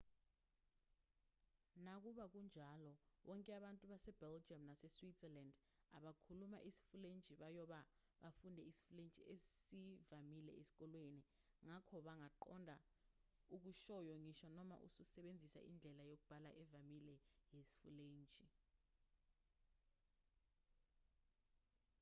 nakuba kunjalo bonke abantu base-belgium nase-switzerland abakhuluma isifulentshi bayobe befunde isifulentshi esivamile esikoleni ngakho bangaqonda okushoyo ngisho noma usebenzise indlela yokubala evamile yesifulentshi